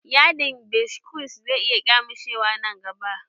Yadin biskos zai iya ƙyamushewa nan gaba